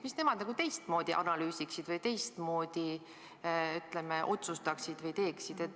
Mida nemad teistmoodi analüüsiksid või teistmoodi otsustaksid või teeksid?